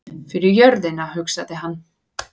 Fyrir jörðina, hugsaði hann.